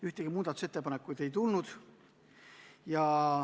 Ühtegi muudatusettepanekut ei tulnud.